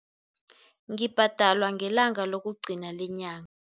Ngibhadalwa ngelanga lokugcina lenyanga.